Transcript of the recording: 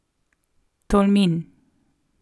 Tolmin.